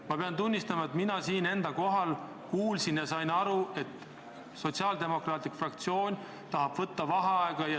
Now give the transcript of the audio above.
Ma kinnitan, et mina siin enda kohal istudes kuulsin, et sotsiaaldemokraatide fraktsioon tahab võtta vaheaega.